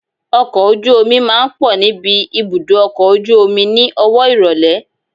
Ọkọ̀ ojú omi máa ń pọ̀ níbi ibùdó ọkọ̀ ojú omi ni owó ìrólé.